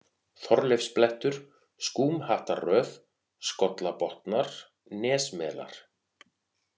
Þorleifsblettur, Skúmhattarröð, Skollabotnar, Nesmelar